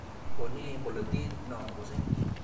Bo nee bolotet no akase.